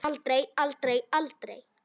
Aldrei, aldrei, aldrei!